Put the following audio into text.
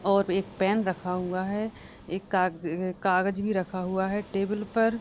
और एक पेन रखा हुआ है एक काग अ कागज़ भी रखा हुआ है टेबल पर।